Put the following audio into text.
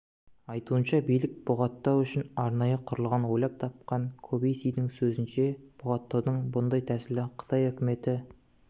айтуынша билік бұғаттау үшін арнайы құрылғы ойлап тапқан кобеиссидің сөзінше бұғаттаудың бұндай тәсілі қытай үкіметі